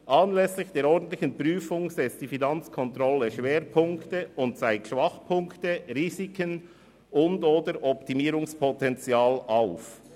Anlässlich der ordentlichen Prüfung setzt die Finanzkontrolle Schwerpunkte und zeigt Schwachpunkte, Risiken und/oder Optimierungspotenzial auf.